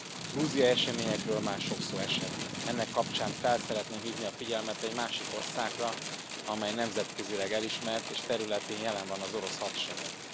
A grúziai eseményekről már sok szó esett, ennek kapcsán fel szeretném hívni a figyelmet egy másik országra, amely nemzetközileg elismert, és területén jelen van az orosz hadsereg.